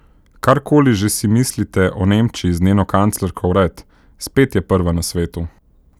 Karkoli že si mislite o Nemčiji z njeno kanclerko vred, spet je prva na svetu.